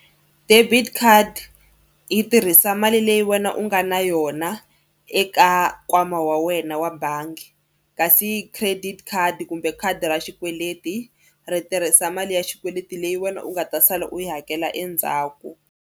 Debit card yi tirhisa mali leyi wena u nga na yona eka nkwama wa wena wa bangi kasi credit khadi kumbe khadi ra xikweleti ri tirhisa mali ya xikweleti leyi wena u nga ta sala u yi hakela endzhaku.